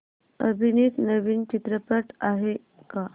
अभिनीत नवीन चित्रपट आहे का